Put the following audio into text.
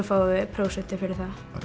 fáum við prósentur fyrir það